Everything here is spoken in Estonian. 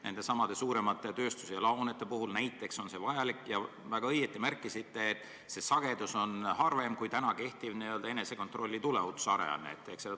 Nendesamade suuremate tööstus- ja laohoonete puhul on see vajalik ja te väga õigesti märkisite, et selle sagedus on harvem kui kehtiva enesekontrolli tuleohutusaruande esitamisel.